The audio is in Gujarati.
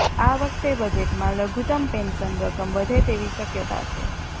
આ વખતે બજેટમાં લઘુતમ પેન્શન રકમ વધે તેવી શક્યતા છે